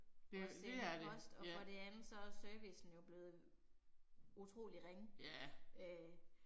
Det det er det, ja. Ja